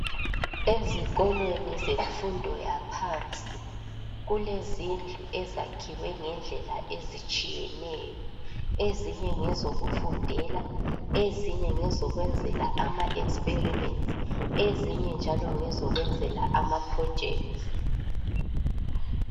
Ezikolweni zemfundo yaphansi kulezindlu ezakhiwe ngendlela ezitshiyeneyo. Ezinye ngezokufundela, ezinye ngezokwenzela ama "experiments",ezinye njalo ngezokwenzela ama"projects".